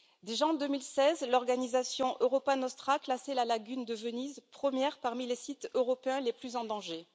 Déjà, en 2016, l'organisation Europa Nostra classait la lagune de Venise première parmi les sites européens les plus en danger.